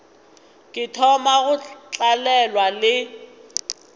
ke thoma go tlalelwa le